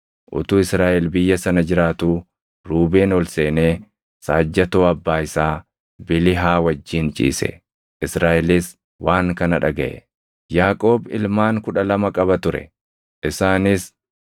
Utuu Israaʼel biyya sana jiraatuu Ruubeen ol seenee saajjatoo abbaa isaa Bilihaa wajjin ciise; Israaʼelis waan kana dhagaʼe. Yaaqoob ilmaan kudha lama qaba ture; isaanis: